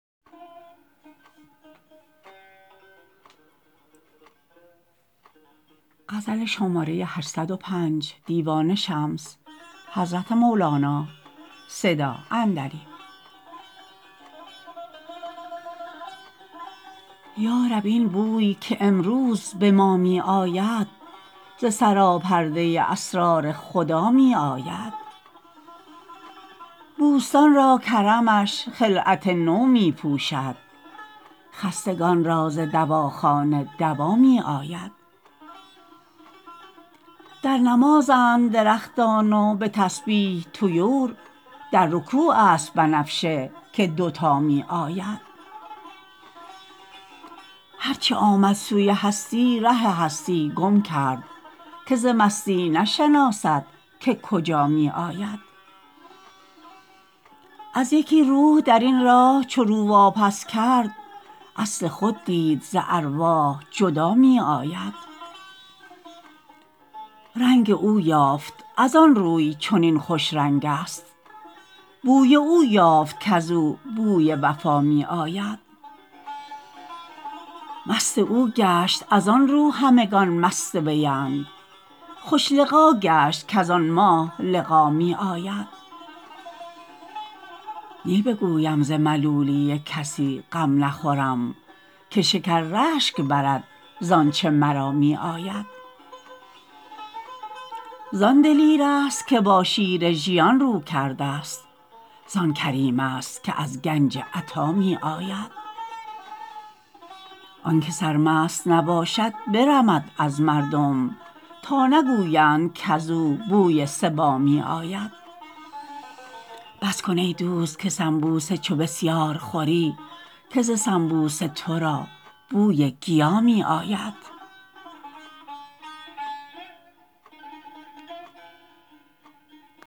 یا رب این بوی که امروز به ما می آید ز سراپرده اسرار خدا می آید بوستان را کرمش خلعت نو می پوشد خستگان را ز دواخانه دوا می آید در نمازند درختان و به تسبیح طیور در رکوع است بنفشه که دوتا می آید هر چه آمد سوی هستی ره هستی گم کرد که ز مستی نشناسد که کجا می آید از یکی روح در این راه چو رو واپس کرد اصل خود دید ز ارواح جدا می آید رنگ او یافت از آن روی چنین خوش رنگ است بوی او یافت که ز او بوی وفا می آید مست او گشت از آن رو همگان مست وی اند خوش لقا گشت کز آن ماه لقا می آید نی بگویم ز ملولی کسی غم نخورم که شکر رشک برد ز آنچ مرا می آید زان دلیر ست که با شیر ژیان رو کرده ست زان کریم است که از گنج عطا می آید آنک سرمست نباشد برمد از مردم تا نگویند کز او بوی صبا می آید بس کن ای دوست که سنبوسه چو بسیار خوری که ز سنبوسه تو را بوی گیا می آید